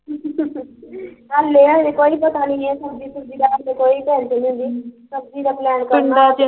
ਹਲੇ ਹਲੇ ਕੋਈ ਪਤਾ ਨੀ ਐ ਸਬਜ਼ੀ ਸੁਬਜ਼ੀ ਦਾ, ਹਲੇ ਕੋਈ ਚਾਲ ਛੁਲਣ ਦੀ, ਸਬਜ਼ੀ ਦਾ plan